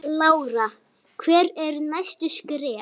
Lára: Hver eru næstu skerf?